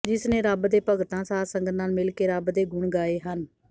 ਜਿਸ ਨੇ ਰੱਬ ਦੇ ਭਗਤਾਂ ਸਾਧਸੰਗਤ ਨਾਲ ਮਿਲ ਕੇ ਰੱਬ ਦੇ ਗੁਣ ਗਾਏ ਹਨ